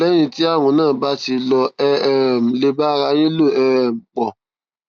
lẹyìn tí ààrùn náà bá ti lọ ẹ um lè bá ara yín lò um pọ